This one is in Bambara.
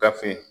Gafe